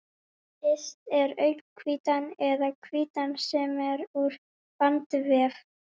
Yst er augnhvítan eða hvítan sem er úr bandvef.